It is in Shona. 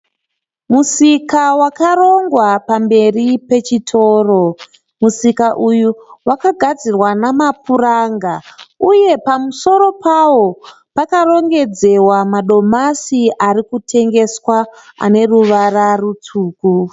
Musika wakarongwa pamberi pechitoro. Musika uyu wakagadzirwa namapuranga, uye pamusoro pawo pakarongedzwa madomasi arikutengeswa aneruvara rutsvuku.